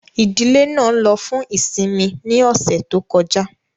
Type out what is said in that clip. Ìdílé náà ló fún ìsinmi ní ọ̀sẹ̀ tó kọjá